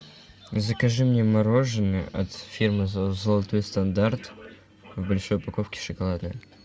закажи мне мороженое от фирмы золотой стандарт в большой упаковке шоколадное